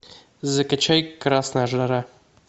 закачай красная жара